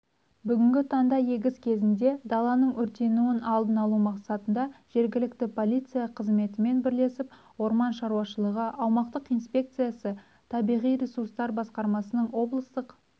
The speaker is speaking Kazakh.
бүгінгі таңда егіс кезінде даланың өртенуін алдын алу мақсатында жергілікті полиция қызметімен бірлесіп орман шаруашылығы аумақтық инспекциясы табиғи ресурстар басқармасының облыстық